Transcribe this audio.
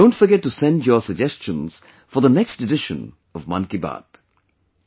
Don't forget to send your suggestions for the next edition of 'Mann Ki Baat'